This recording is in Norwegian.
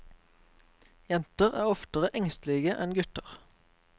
Jenter er oftere engstelige enn gutter.